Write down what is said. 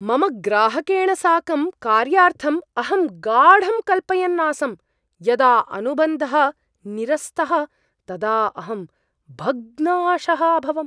मम ग्राहकेण साकं कार्यार्थम् अहं गाढं कल्पयन् आसम्, यदा अनुबन्धः निरस्तः तदा अहं भग्नाशः अभवम्।